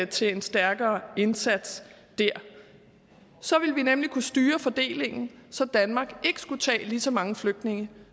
til en stærkere indsats der så ville vi nemlig kunne styre fordelingen så danmark ikke skulle tage lige så mange flygtninge